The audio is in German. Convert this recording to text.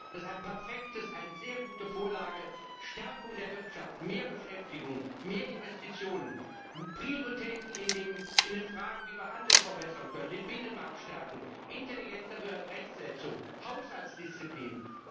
Das ist eine perfekte, eine sehr gute Vorlage Stärkung der Wirtschaft, mehr Beschäftigung, mehr Investitionen, Prioritäten in den Fragen, wie wir Handel verbessern können, den Binnenmarkt stärken, intelligentere Rechtssetzung, Haushaltsdisziplin.